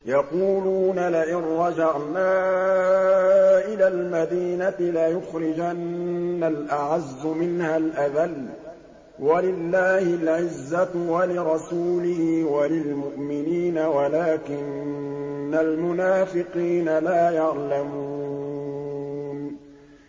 يَقُولُونَ لَئِن رَّجَعْنَا إِلَى الْمَدِينَةِ لَيُخْرِجَنَّ الْأَعَزُّ مِنْهَا الْأَذَلَّ ۚ وَلِلَّهِ الْعِزَّةُ وَلِرَسُولِهِ وَلِلْمُؤْمِنِينَ وَلَٰكِنَّ الْمُنَافِقِينَ لَا يَعْلَمُونَ